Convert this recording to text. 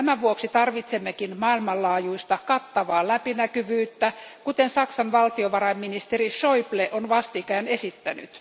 Tämän vuoksi tarvitsemmekin maailmanlaajuista, kattavaa läpinäkyvyyttä, kuten Saksan valtiovarainministeri Schäuble on vastikään esittänyt.